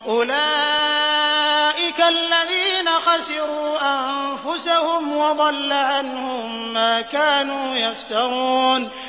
أُولَٰئِكَ الَّذِينَ خَسِرُوا أَنفُسَهُمْ وَضَلَّ عَنْهُم مَّا كَانُوا يَفْتَرُونَ